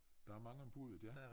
Der er mange om buddet ja